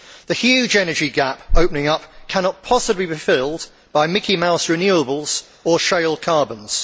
The huge energy gap opening up cannot possibly be filled by Mickey Mouse renewables or shale carbons.